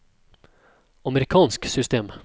amerikansk system